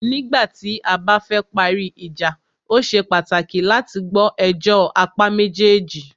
Nígbà tí a bá fẹ parí ìjà,o ṣe pàtàkì láti gbọ́ ẹjọ́ apá méjèèjì.